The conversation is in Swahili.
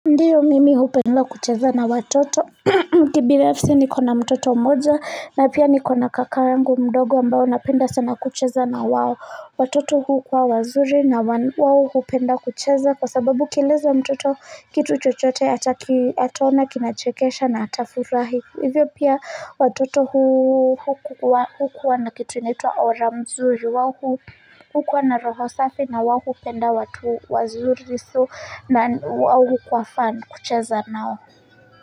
Ndiyo mimi hupenda kucheza na watoto, kibinafsi niko na mtoto mmoja na pia niko na kaka yangu mdogo ambao napenda sana kucheza na wao. Watoto hukuwa wazuri na wao hupenda kucheza kwa sababu ukieleza mtoto kitu chochote ataona kinachekesha na atafurahi. Hivyo pia watoto hukuwa na kitu inaitwa aura mzuri wao hukuwa na roho safi na wao hupenda watu wazuri so na wao kwa fun kucheza nao.